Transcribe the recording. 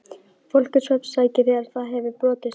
Fólk er svefnsækið þegar það hefur brotið sig.